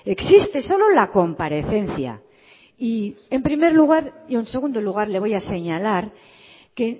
existe solo la comparecencia y en primer lugar y en segundo lugar le voy a señalar que